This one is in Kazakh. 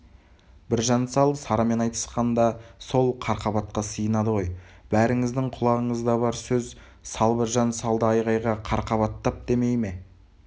біржан сал сарамен айтысқанда сол қарқабатқа сыйынады ғой бәріңіздің құлағыңызда бар сөз сал біржан салды айғайға қарқабаттап демей ме